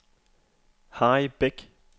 Harry Bech